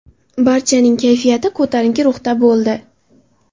Barchaning kayfiyati ko‘tarinki ruhda bo‘ldi.